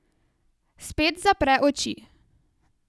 Spet zapre oči.